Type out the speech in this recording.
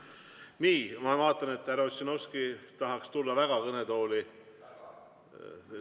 Nii, ma vaatan, et härra Ossinovski tahaks väga tulla kõnetooli.